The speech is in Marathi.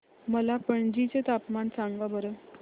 मला पणजी चे तापमान सांगा बरं